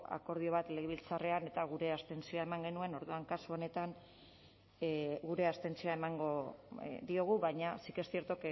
akordio bat legebiltzarrean eta gure abstentzioa eman genuen orduan kasu honetan gure abstentzioa emango diogu baina sí que es cierto